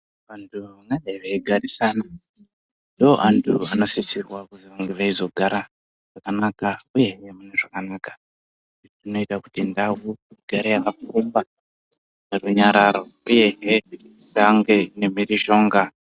Vantu vanonge veigarisana ndiwo antu anosisirwa kuzonge veizogara zvakanaka uyewo mune zvakanaka. Izvi zvinoita kuti ndau igare yakapfumba nerunyararo uyezve isange ine mhirizhonga.